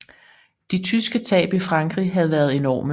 De tyske tab i Frankrig havde været enorme